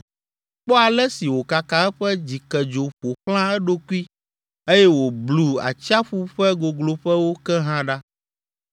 Kpɔ ale si wòkaka eƒe dzikedzo ƒo xlã eɖokui eye wòblu atsiaƒu ƒe gogloƒewo ke hã ɖa.